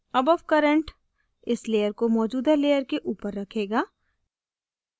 above current इस layer को मौजूदा layer के ऊपर रखेगा